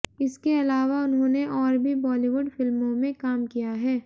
इसके अलावा उन्होंने और भी बॉलीवुड फिल्मों में काम किया है